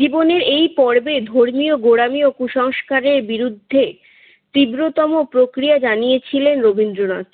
জীবনের এই পর্বে ধর্মীয় গোঁরামি ও কুসংস্কারের বিরুদ্ধে তীব্রতম প্রক্রিয়া জানিয়েছিলেন রবীন্দ্রনাথ।